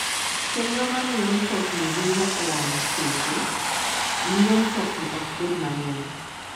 Chenro ma miyo mtokni ringo e wang'e seche, miyo mtokni ok bed mang'eny.